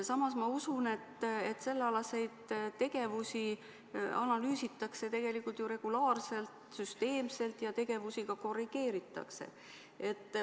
Samas ma usun, et sellealaseid tegevusi analüüsitakse tegelikult ju regulaarselt, süsteemselt ja tegevusi ka korrigeeritakse.